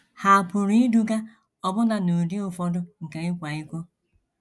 Ha pụrụ iduga ọbụna n’ụdị ụfọdụ nke ịkwa iko.